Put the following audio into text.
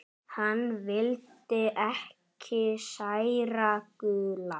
Hann vildi ekki særa Gulla.